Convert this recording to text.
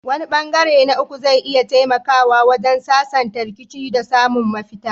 Wani ɓangare na uku zai iya taimakawa wajen sasanta rikicin da samun mafita.